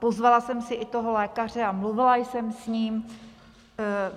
Pozvala jsem si i toho lékaře a mluvila jsem s ním.